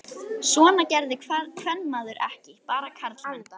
Svona gerði kvenmaður ekki, bara karlmenn.